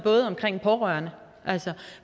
om pårørende